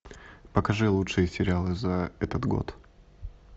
покажи лучшие сериалы за этот год